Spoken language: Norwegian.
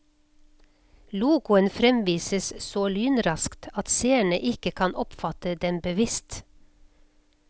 Logoen fremvises så lynraskt at seerne ikke kan oppfatte den bevisst.